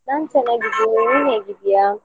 ನಾನು ಚೆನ್ನಾಗಿದ್ದೇನೆ ನೀನು ಹೇಗಿದ್ದೀಯ?